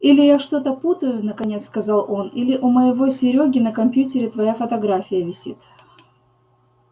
или я что-то путаю наконец сказал он или у моего серёги на компьютере твоя фотография висит